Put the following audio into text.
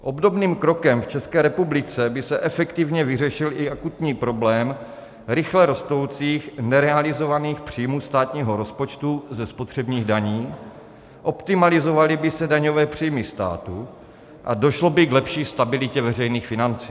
Obdobným krokem v České republice by se efektivně vyřešil i akutní problém rychle rostoucích nerealizovaných příjmů státního rozpočtu ze spotřebních daní, optimalizovaly by se daňové příjmy státu a došlo by k lepší stabilitě veřejných financí.